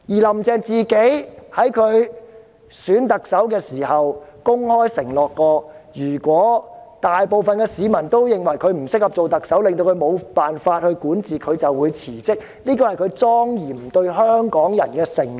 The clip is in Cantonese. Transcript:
"林鄭"在競選特首期間曾公開承諾，如果大部分市民都認為她不適合做特首，令她無法管治，她便會辭職，這是她對香港市民的莊嚴承諾。